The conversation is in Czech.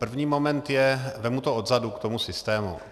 První moment je - vezmu to odzadu k tomu systému.